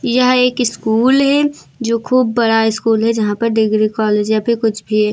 यह एक स्कूल है जो खूब बड़ा स्कूल है यहां पर डिग्री कॉलेज या फिर कुछ भी है।